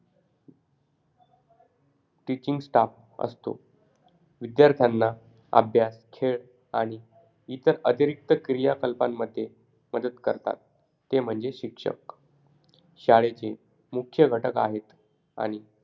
Teaching staff असतो. विद्यार्थ्यांना अभ्यास, खेळ आणि इतर अतिरिक्त क्रियाकलपांमध्ये मदत करतात. ते म्हणजे शिक्षक. शाळेचे मुख्य घटक आहेत. आणि,